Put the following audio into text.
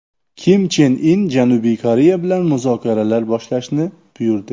Kim Chen In Janubiy Koreya bilan muzokaralar boshlashni buyurdi.